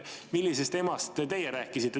Millisest emast teie rääkisite?